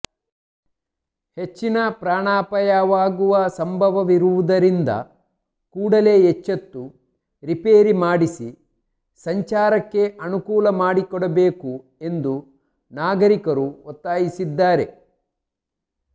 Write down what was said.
ಹೆಚ್ಚಿನ ಪ್ರಾಣಾಪಾಯವಾಗುವ ಸಂಭವವಿರುವುದರಿಂದ ಕೂಡಲೇ ಎಚ್ಚೆತ್ತು ರಿಪೇರಿ ಮಾಡಿಸಿ ಸಂಚಾರಕ್ಕೆ ಅನುಕೂಲ ಮಾಡಿಕೊಡಬೇಕು ಎಂದು ನಾಗರಿಕರು ಒತ್ತಾಯಿಸಿದ್ದಾರೆ